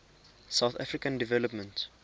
southern african development